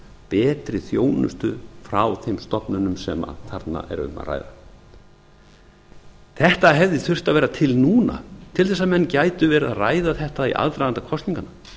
betri þjónustu frá þeim stofnunum sem þarna er um að ræða þetta hefði þurft að vera til núna til þess að menn gætu verið að ræða þetta í aðdraganda kosninganna